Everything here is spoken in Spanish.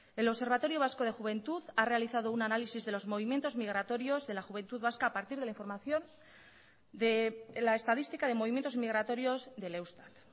el observatorio vasco de juventud ha realizado un análisis de los movimientos migratorios de la juventud vasca a partir de la información de la estadística de movimientos migratorios del eustat